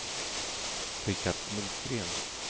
Rickard Nordgren